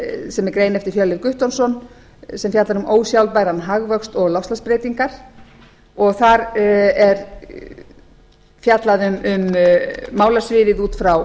sem er greinlega eftir hjörleif guttormsson sem fjallar um ósjálfbæran hagvöxt og loftslagsbreytingar og þar er fjallað um málasviðið út frá